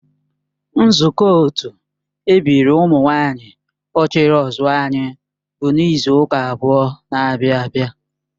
Nzukọ otu ebiri ụmụ nwanyị ochiri ozuor anyị bụ n'izu ụka abụọ n'abia abia